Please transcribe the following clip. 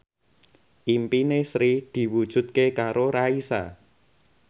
impine Sri diwujudke karo Raisa